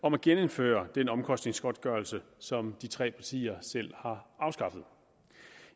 om at genindføre den omkostningsgodtgørelse som de tre partier selv har afskaffet